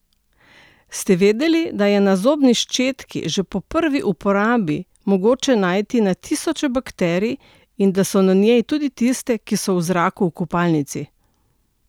Ste vedeli, da je na zobni ščetki že po prvi uporabi mogoče najti na tisoče bakterij in da so na njej tudi tiste, ki so v zraku v kopalnici?